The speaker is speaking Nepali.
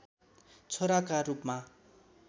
छोराका रूपमा